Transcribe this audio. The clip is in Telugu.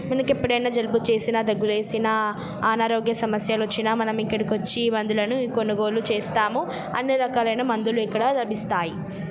మనకెప్పుడైనా జలుబు చేసిన దగ్గులేచిన అనారోగ్య సమస్యలు వచ్చిన మనం ఇక్కడికి వచ్చి మందులను కొనుగోలు చేస్తాము. అన్ని రకాలైన మందులు ఎక్కడ లభిస్తాయి.